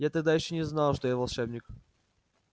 я тогда ещё не знал что я волшебник